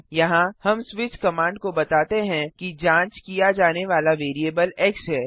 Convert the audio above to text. यहाँ हम switch command को बताते हैं कि जांच किया जाने वाला वेरीअबल एक्स है